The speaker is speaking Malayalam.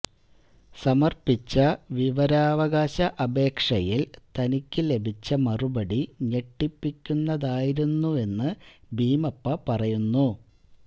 സമര്പ്പിച്ച വിവരാവകാശ അപേക്ഷയില് തനിക്ക് ലഭിച്ച മറുപടി ഞെട്ടിപ്പിക്കുന്നതായിരുന്നെന്ന് ഭീമപ്പ പറയുന്നു